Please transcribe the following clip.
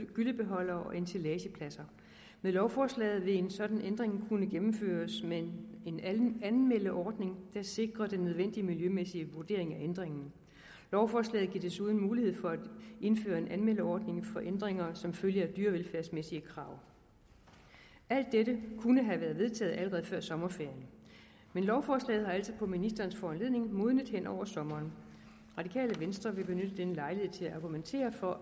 gyllebeholdere og ensilagepladser med lovforslaget vil en sådan ændring kunne gennemføres med en anmeldeordning der sikrer den nødvendige miljømæssige vurdering af ændringen lovforslaget giver desuden mulighed for at indføre en anmeldeordning for ændringer som følge af dyrevelfærdsmæssige krav alt dette kunne være vedtaget allerede før sommerferien men lovforslaget har altså på ministerens foranledning modnet henover sommeren radikale venstre vil benytte denne lejlighed til at argumentere for